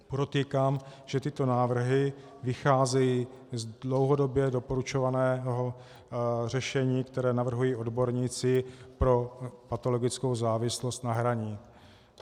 Podotýkám, že tyto návrhy vycházejí z dlouhodobě doporučovaného řešení, které navrhují odborníci pro patologickou závislost na hraní.